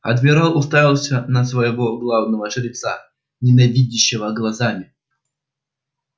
адмирал уставился на своего главного жреца ненавидящими глазами